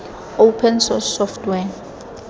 open source software